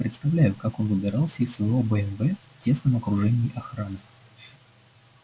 представляю как он выбирался из своего бмв в тесном окружении охраны